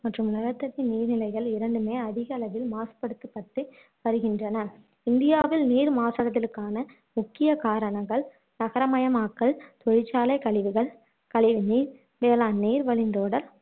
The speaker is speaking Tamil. மற்றும் நிலத்தடி நீர் நிலைகள் இரண்டுமே அதிக அளவில் மாசுபடுத்தப்பட்டு வருகின்றன இந்தியாவில் நீர் மாசடைதலுக்கான முக்கிய காரணங்கள் நகரமயமாக்கல் தொழிற்சாலை கழிவுகள் கழிவு நீர் வேளாண் நீர் வழிந்தோடல் மற்றும்